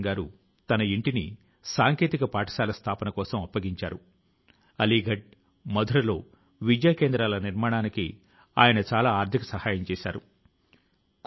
అది దేశం కోసం కొత్త సంకల్పాలను తీసుకొనేటటువంటి ఏదైనా చేసి వెళ్లాలనేటటువంటి ఇచ్ఛాశక్తి ని చూపించే ప్రేరణాత్మకమైనటువంటి ఉత్సవం ప్రేరణాత్మకమైనటువంటి సందర్భం